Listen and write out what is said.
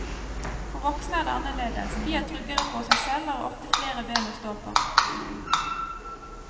For voksne er det annerledes, de er tryggere på seg selv og har ofte flere ben å stå på.